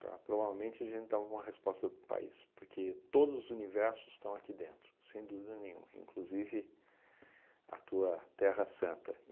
Tá? Provavelmente a gente dá uma boa resposta para isso, porque todos os universos estão aqui dentro, sem dúvida nenhuma, inclusive a tua terra santa.